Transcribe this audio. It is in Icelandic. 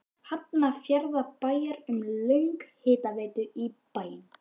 Hafnarfjarðarbæjar um lögn hitaveitu í bæinn.